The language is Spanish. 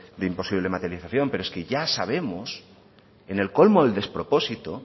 de imposible materialización pero es que ya sabemos en el colmo del despropósito